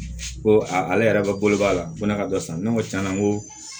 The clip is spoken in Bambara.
Ko a ale yɛrɛ balo b'a la ko ne ka dɔ san ne ko tiɲɛna ko